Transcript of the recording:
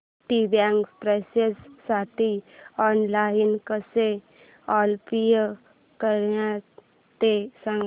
Citibank प्रेस्टिजसाठी online कसं apply करायचं ते सांग